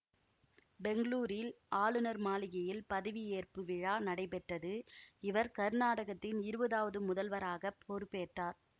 பெங்களூரில் ஆளுநர் மாளிகையில் பதவியேற்பு விழா நடைபெற்றது இவர் கர்நாடகத்தின் இருவதாவது முதல்வராக பொறுப்பேற்றார்